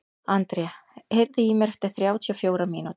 André, heyrðu í mér eftir þrjátíu og fjórar mínútur.